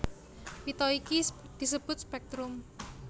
Pita iki disebut spèktrum